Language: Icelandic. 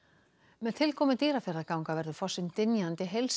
með tilkomu Dýrafjarðarganga verður fossinn dynjandi